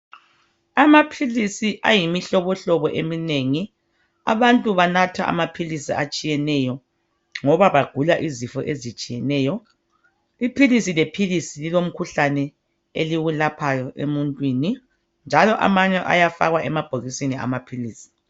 Amaphilisi ayimihlobohlobo eminengi. Abantu banatha amaphilisi atshiyeneyo ngoba begula imikhuhlane ehlukeneyo. Iphilisi lephilisi lilomkhuhlane eliwelaphayo emuntwini njalo ayafakwa emabhokisini.